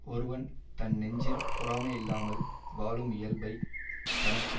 ஒருவன் தன் நெஞ்சில் பொறாமை இல்லாமல் வாழும் இயல்பைத் தனக்கு